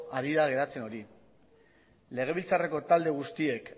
ari da geratzen hori legebiltzarreko talde guztiek